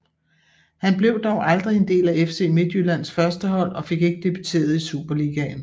Han blev dog aldrig en del af FC Midtjyllands førstehold og fik ikke debuteret i Superligaen